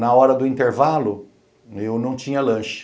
Na hora do intervalo, eu não tinha lanche.